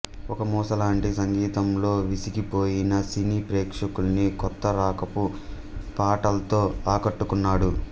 ఒక మూస లాంటి సంగీతంతో విసిగిపోయిన సినీ ప్రేక్షకుల్ని కొత్త రకపు పాటల్తో ఆకట్టుకున్నడు